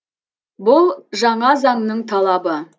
бұл жаңа заңның талабы